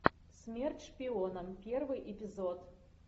смерть шпионам первый эпизод